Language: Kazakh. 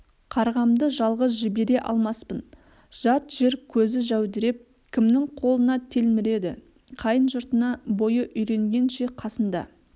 қарғамды жалғыз жібере алмаспын жат жер көзі жәудіреп кімнің қолына телміреді қайын жұртына бойы үйренгенше қасында